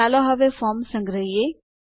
ચાલો હવે ફોર્મ સંગ્રહો